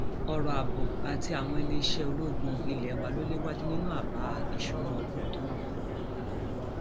ọrọ ààbò àti àwọn iléeṣẹ um ológun ilé wa lọ léwájú nínú abá um ìṣúná ọdún tó ń bọ